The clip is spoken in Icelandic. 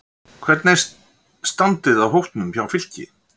Hvernig er standið á hópnum hjá Fylki?